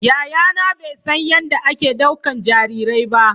Yayana bai san yadda ake ɗaukan jarirai ba